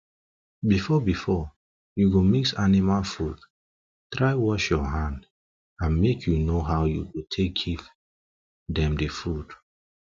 before before u go mix animals food try wash u hand and make u know how u go take give them the food